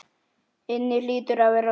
inni hlýtur að vera lokið.